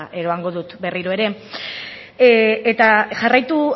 eramango dut berriro ere eta jarraitu